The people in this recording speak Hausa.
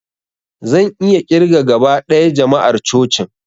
Zan iya ƙirga gaba ɗaya jama'ar cocin